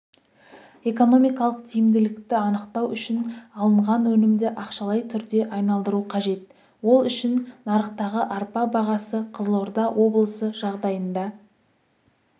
экономикалық тиімділікті анықтау үшін алынған өнімді ақшалай түрге айналдыру қажет ол үшін нарықтағы арпа бағасы қызылорда облысы жағдайында